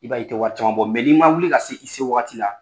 I b'a ye i tɛ wari caman bɔ, mɛ n'i ma wuli ka se i se waati la